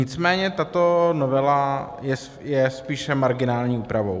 Nicméně tato novela je spíše marginální úpravou.